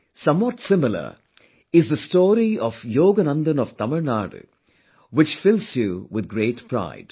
Somewhat similar is the story of Yogananthan of Tamil Nadu which fills you with great pride